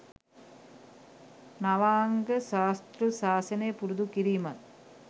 නවාංග ශාස්තෘ ශාසනය පුරුදු කිරීමත්